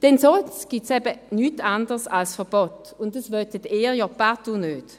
Denn sonst gibt es eben nichts anderes als Verbote, und das wollen Sie ja partout nicht.